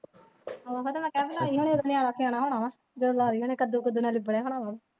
ਉਹ ਤਾਂ ਮੈਂ ਕਿਹਾ ਨਿਆਣਾ ਸਿਆਣਾ ਹੋਣਾ ਹੈ ਜਦੋਂ ਲਾਈ ਹੋਣੀ ਕੱਦੂ ਕੁੱਦੂ ਨਾਲ ਲਿਬੜੇ ਹੋਣਾ ਹੈ।